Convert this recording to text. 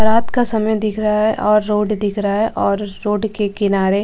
रात का समय दिख रहा है और रोड दिख रहा है और रोड के किनारे--